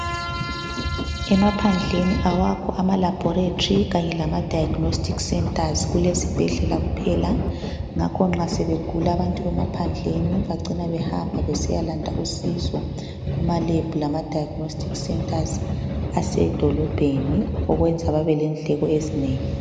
Emaphandleni awakho ama laboratory kanye lama Diagnostic centers. Kulezibhedlela kuphela. Ngakho nxa sebegula abantu bemaphandleni bacina behamba besiyalanda usizo kuma Lab lama Diagnostic centers asedolobheni okwenza babe lendleko ezinengi.